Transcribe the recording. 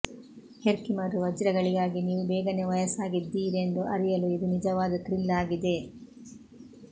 Herkimer ವಜ್ರಗಳಿಗಾಗಿ ನೀವು ಬೇಗನೆ ವಯಸ್ಸಾಗಿದ್ದೀರೆಂದು ಅರಿಯಲು ಇದು ನಿಜವಾದ ಥ್ರಿಲ್ ಆಗಿದೆ